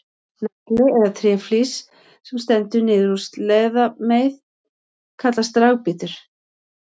Nagli eða tréflís sem stendur niður úr sleðameið kallast dragbítur.